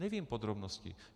Nevím podrobnosti.